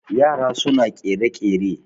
yara suna kere-kere